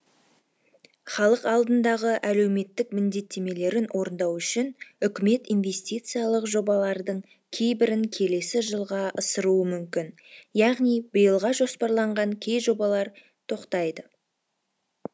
халық алдындағы әлеуметтік міндеттемелерін орындау үшін үкімет инвестициялық жобалардың кейбірін келесі жылға ысыруы мүмкін яғни биылға жоспарланған кей жобалар тоқтайды